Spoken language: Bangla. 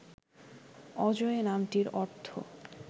অজয় নামটির অর্থ